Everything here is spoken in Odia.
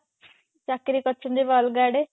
ଚାକିରି କରିଛନ୍ତି ଏବେ ଅଲଗା ଆଡେ